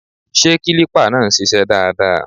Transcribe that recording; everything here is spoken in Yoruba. Ṣé kílípà náà ń ṣiṣẹ́ dáadáa?